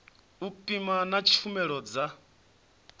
u pima na tshumelo dza